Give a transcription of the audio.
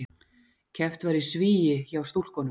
Keppt var í svigi hjá stúlkunum